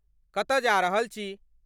कतऽ जा रहल छी?